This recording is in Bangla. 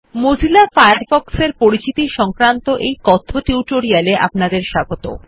মজিলা ফায়ারফ্ক্ষ এর পরিচিতি সংক্রান্ত এই কথ্য টিউটোরিয়াল এ আপনাদের স্বাগত